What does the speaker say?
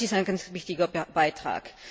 Das ist ein ganz wichtiger Beitrag.